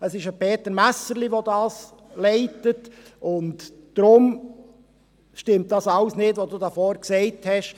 Es ist ein Peter Messerli, der das leitet, und deshalb stimmt alles nicht, was Sie hier vorne gesagt haben.